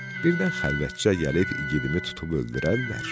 Birdən xəlvətcə gəlib igidimi tutub öldürərlər.